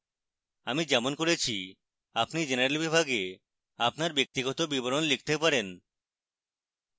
আমি যেমন করেছি আপনি general বিভাগে আপনার ব্যক্তিগত বিবরণ লিখতে পারেন